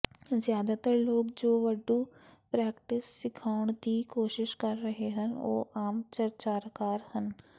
ਜ਼ਿਆਦਾਤਰ ਲੋਕ ਜੋ ਵਡੋੂ ਪ੍ਰੈਕਟਿਸ ਸਿਖਾਉਣ ਦੀ ਕੋਸ਼ਿਸ਼ ਕਰ ਰਹੇ ਹਨ ਉਹ ਆਮ ਚਰਚਾਕਾਰ ਹਨ